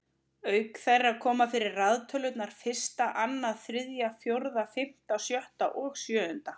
Auk þeirra koma fyrir raðtölurnar fyrsta, annað, þriðja, fjórða, fimmta, sjötta og sjöunda.